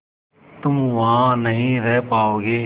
तुम वहां नहीं रह पाओगी